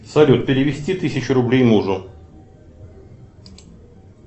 салют перевести тысячу рублей мужу